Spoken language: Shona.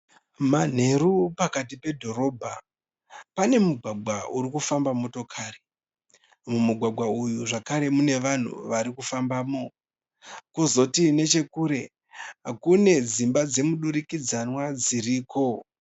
Manheru pakati pedhorobha pane mugwagwa uri kufamba motokari, mumugwagwa umu mune vanhu vari kufambamo, kozoti nechekure kune dzimba dzemudurikidzanwa dziriko.